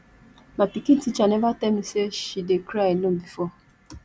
my pikin teacher never tell me say she dey cry alone before